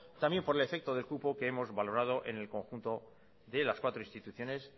también por el efecto del cupo que hemos valorado en el conjunto de las cuatro instituciones